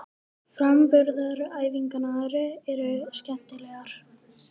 Framburðaræfingarnar eru skemmtilegar.